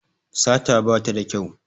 Sata bata da kyau